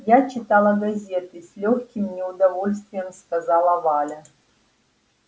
я читала газеты с лёгким неудовольствием сказала валя